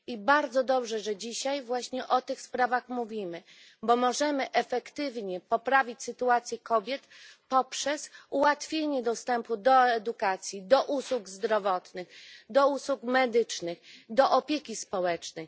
Bardzo dobrze, że dzisiaj właśnie o tych sprawach mówimy, bo możemy efektywnie poprawić sytuację kobiet poprzez ułatwienie dostępu do edukacji, usług zdrowotnych, usług medycznych, opieki społecznej.